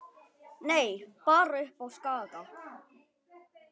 Nei, bara uppi á Skaga.